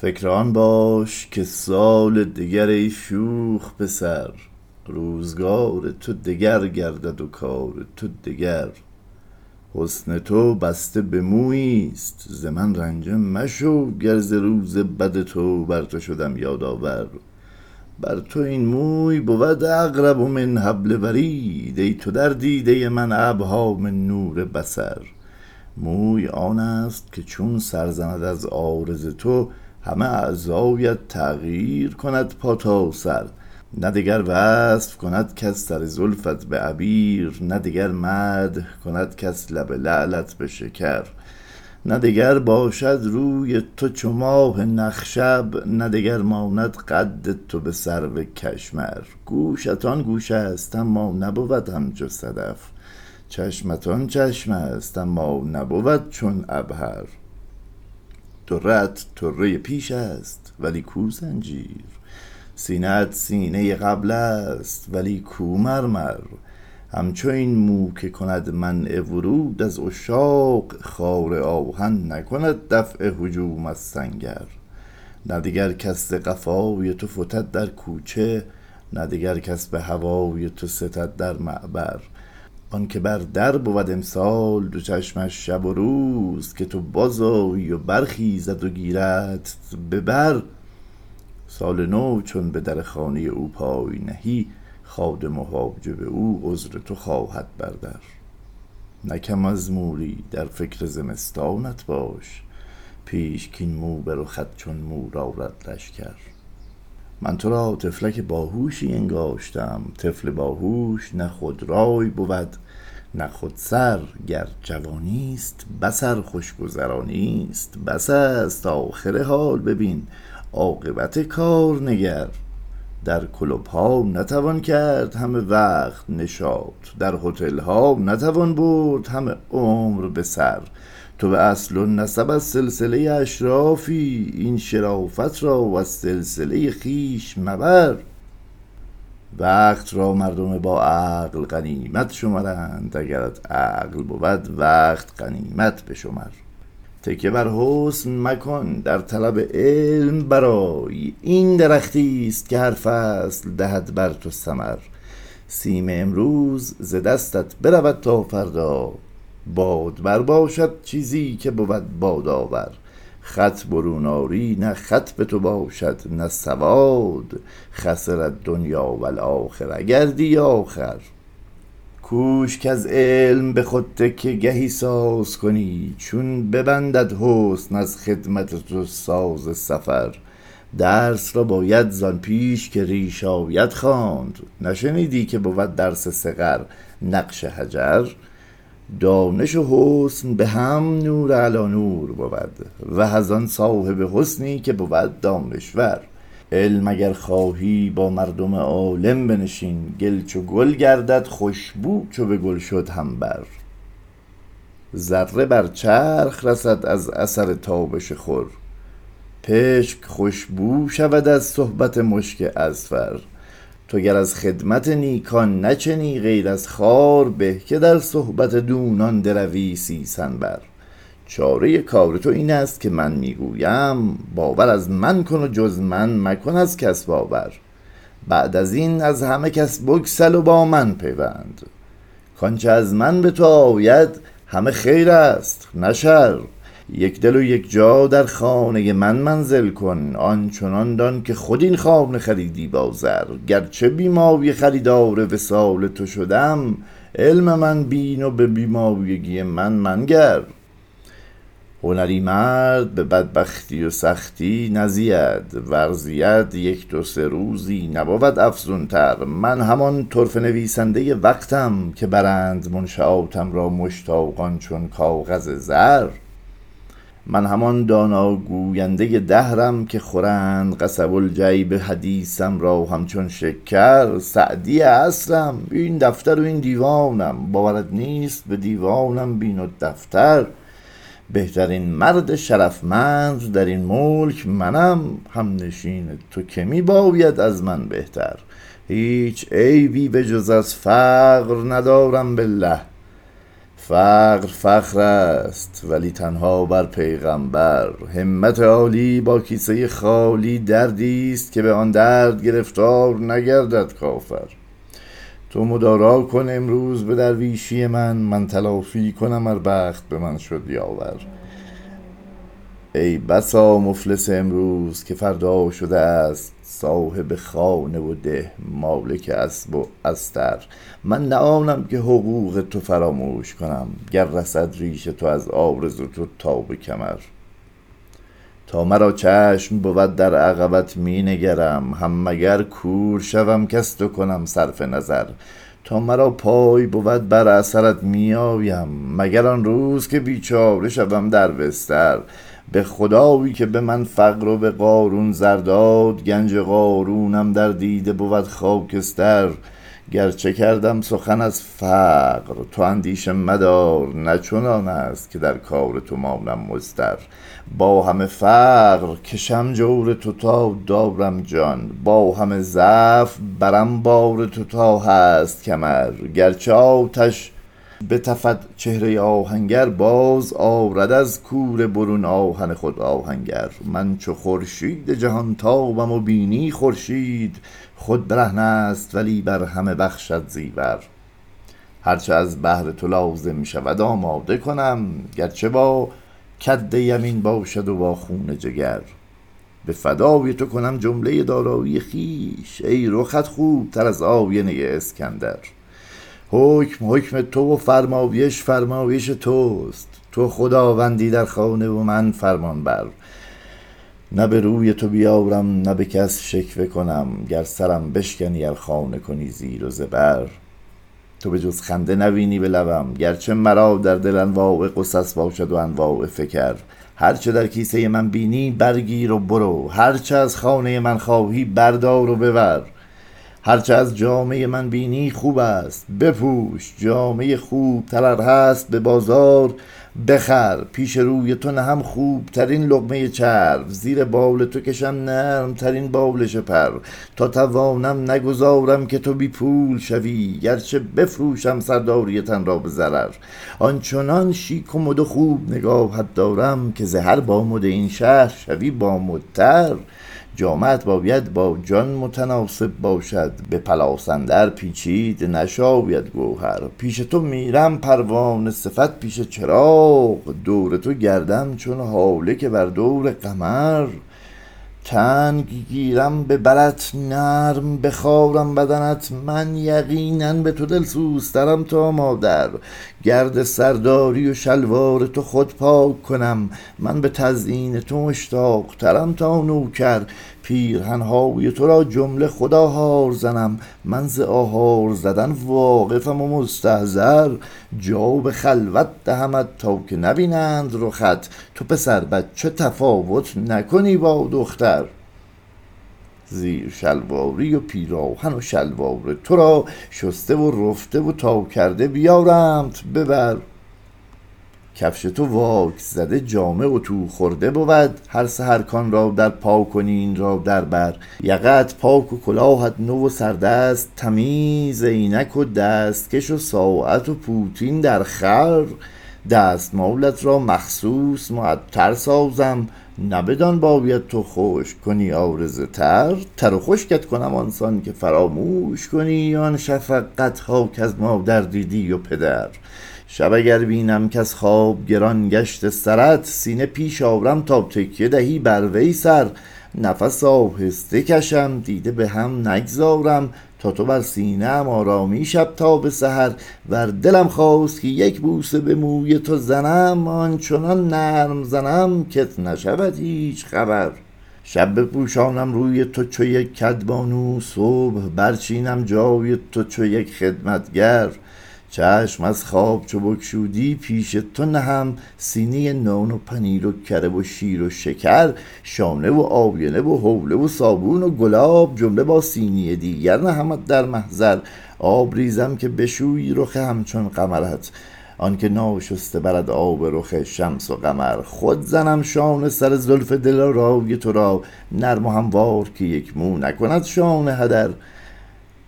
فکر آن باش که سال دگر ای شوخ پسر روزگار تو دگر گردد و کار تو دگر حسن تو بسته به مویی است ز من رنجه مشو که ز روز بد تو بر تو شدم یادآور بر تو این موی بود اقرب من حبل ورید ای تو در دیدۀ من ابهی من نور بصر موی آنست که چون سرزند از عارض تو همه اعضایت تغییر کند پا تا سر نه دگر وصف کند کس سر زلفت به عبیر نه دگر مدح کند کس لب لعلت به شکر نه دگر باشد روی تو چو ماه نخشب نه دگر ماند قد تو به سرو کشمر گوشت آن گوشست اما نبود همچو صدف چشمت آن چشمست اما نبود چون عبهر طره ات طرۀ پیشست ولی کو زنجبر سینه ات سینۀ قبلست ولی کو مرمر همچو این مو که کند منع ورود از عشاق خار آهن نکند دفع هجوم از سنگر نه دگر کس ز قفای تو فتد در کوچه نه دگر کس به هوای تو ستد در معبر آنکه بر در بود امسال دو چشمش شب و روز که تو باز آیی و بر خیزد و گیردت به بر سال نو چون به در خانۀ او پای نهی خادم و حاجب او عذر تو خواهد بردر نه کم از موری در فکر زمستانت باش پیش کاین مو به رخت چون مور آرد لشکر من ترا طفلک باهوشی انگاشته ام طفل باهوش نه خود رای بود نه خود سر گر جوانیست بس ار خوشگذارا نیست بس است آخر حال ببین عاقبت کار نگر در کلوپ ها نتوان کرد همه وقت نشاط در هتل ها نتوان برد همه عمر به سر تو به اصل و نسب از سلسلۀ اشرافی این شرافت را از سلسلۀ خویش مبر وقت را مردم با عقل غنیمت شمرند اگرت عقل بود وقت غنیمت بشمر تکیه بر حسن مکن در طلب علم برای این درختیست که هر فصل دهد بر تو ثمر سیم امروز ز دستت برود تا فردا بادبر باشد چیزی که بود بادآور خط برون آری نه خط به تو باشد نه سواد خسر الدنیا و الآخره گردی آخر کوش کز علم به خود تکیه گهی سازکنی چون ببندد حسن از خدمت تو ساز سفر درس را باید زان پیش که ریش آید خواند نشنیدی که بود درس صغر نقش حجر دانش و حسن به هم نور علی نور بود وه از آن صاحب حسنی که بود دانشور علم اگر خواهی با مردم عالم بنشین گل چو گل گردد خوشبو چو به گل شد همبر ذره بر چرخ رسد از اثر تابش خور پشک خوشبو شود از صحبت مشک اذفر تو گر از خدمت نیکان نچنی غیر از خار به که در صحبت دونان دروی سیسنبر چارۀ کار تو این است که من می گویم باور از من کن و جز من مکن از کس باور بعد از این از همه کس بگسل و با من پیوند کانچه از من به تو آید همه خیرست نه شر یکدل و یکجا در خانۀ من منزل کن آنچنان دان که خود این خانه خریدی با زر گرچه بی مایه خریدار وصال تو شدم علم من بین و به بی مایگی من منگر هنری مرد به بدبختی و سختی نزید ور زید یک دو سه روزی نبود افزونتر من همان طرفه نویسندۀ وقتم که بردند منشآتم را مشتاقان چون کاغذ زر من همان دانا گویندۀ دهرم که خورند قصب الجیب حدیثم را همچون شکر سعدی عصرم این دفتر و این دیوانم باورت نیست به دیوانم بین و دفتر بهترین مرد شرفمند در این ملک منم همنشین تو که می باید از من بهتر هیچ عیبی بجز از فقر ندارم بالله فقر فخر است ولی تنها بر پیغمبر همت عالی با کیسۀ خالی دردی است که به آن درد گرفتار نگردد کافر تو مدارا کن امروز به درویشی من من تلافی کنم ار بخت به من شد یاور ای بسا مفلس امروز که فردا شده است صاحب خانه و ده مالک اسب و استر من نه آنم که حقوق تو فراموش کنم گر رسد ریش تو از عارض تو تا به کمر تا مرا چشم بود در عقبت می نگرم هم مگر کور شوم کز تو کنم صرف نظر تا مرا پای بود بر اثرت می آیم مگر آن روز که بیچاره شوم در بستر به خدایی که به من فقر و به قارون زر داد گنج قارونم در دیده بود خاکستر گرچه کردم سخن از فقر تو اندیشه مدار نه چنان است که در کار تو مانم مضطر با همه فقر کشم جور تو دارم جان با همه ضعف برم بار تو تا هست کمر گرچه آتش بتفد چهرۀ آهنگر باز آرد از کوره برون آهن خود آهنگر من چو خورشید جهان تابم و بینی خورشید خود برهنه است ولی بر همه بخشد زیور هر چه از بهر تو لازم شود آماده کنم گرچه با کدیمین باشد و با خون جگر به فدای تو کنم جملۀ دارایی خویش ای رخت خوب تر از آینۀ اسکندر حکم حکم تو و فرمایش فرمایش توست تو خداوندی در خانه و من فرمان بر نه به روی تو بیارم نه به کس شکوه کنم گر سرم بشکنی ار خانه کنی زیر و زبر تو به جز خنده نبینی به لبم گرچه مرا در دل انواع غصص باشد و اقسام فکر هر چه در کیسه من بینی برگیر و برو هر چه از خانۀ من می خواهی بردار و ببر هرچه از جامۀ من بینی خوبست بپوش جامۀ خوب تر ار هست به بازار بخر پیش روی تو نهم خوبترین لقمۀ چرب زیر بال تو کشم نرم ترین بالش پر تا توانم نگذارم که تو بی پول شوی گرچه بفروشم سرداری تن را به ضرر آنچنان شیک و مد و خوب نگاهت دارم که زهر با مد این شهر شوی با مدتر جامه ات باید با جان متناسب باشد به پلاس اندر پیچید نشاید گوهر پیش تو میرم پروانه صفت پیش چراغ دور تو گردم چون هاله که بر دور قمر تنگ گیرم به برت نرم بخارم بدنت من یقینا به تو دل سوزترم تا مادر گرد سرداری و شلوار تو خود پاک کنم من به تزیین تو مشتاق ترم تا نوکر پیرهن های ترا جمله خود آهار زنم من ز آهار زدن واقفم و مستحضر جا به خلوت دهمت تا که نبینند رخت تو پسر بچه تفاوت نکنی با دختر زیر شلواری و پیراهن و شلوار ترا شسته و رفته و ناکرده بیارمت به بر کفش تو واکس زده جامه اطو خورده بود هر سحر کان را در پاکنی این را در بر یقه ات پاک و کلاهت نو و سردست تمیز عینک و دستکش و ساعت و پوتین در خور دستمالت را مخصوص معطر سازم نه بدان باید تو خشک کنی عارض تر تر و خشکت کنم آن سان که فراموش کنی آن شفقت ها کز مادر دیدی و پدر شب اگر بینم کز خواب گران گشته سرت سینه پیش آرم تا تکیه دهی بروی سر نفس آهسته کشم دیده به هم نگذارم تا تو بر سینه ام آرامی شب تا به سحر ور دلم خواست که یک بوسه به موی تو زنم آن چنان نرم زنم کت نشود هیچ خبر شب بپوشانم روی تو چو یک کدبانو صبح برچینم جای تو چو یک خدمتگر چشم از خواب چو بگشودی پیش تو نهم سینی نان و پنیر و کره و شیر و شکر شانه و آینه و هوله و صابون و گلاب جمله با سینی دیگر نهمت در محضر آب ریزم که بشویی رخ همچون قمرت آن که ناشسته برد آب رخ شمس و قمر خود زنم شانه سر زلف دلارای ترا نرم و هموار که یک مو نکند شانه هدر